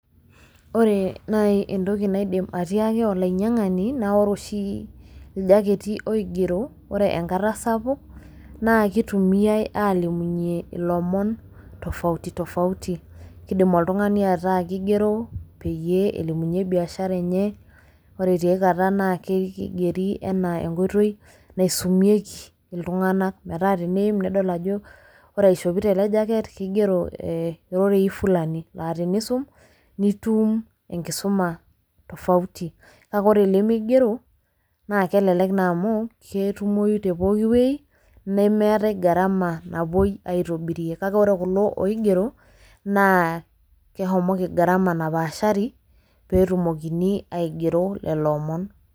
Wore naai entoki naidim atiaki olainyiangani, naa wore oshi iljacketi oigero, wore enkata sapuk, naa kitumiyia aalimunye ilomon tofauti tofauti . Kiindim oltungani ataa kigero peyie elimunye biashara enye, wore tiaikata naa kigeri enaa enkoitoi naisumieki iltunganak, metaa teniim nedol ajo wore aishopito ele jacket kigiero eh irorei fulani laa teniisum, nitum enkisuma tofauti kake wore ilimigero naa kelelek naa amuu ketumoi tee pookin wei, nemeetai gharama napoi aitobirie, kake wore kulo oigero naa keshomoki gharama napaashari pee etumokini aigero lelo omon.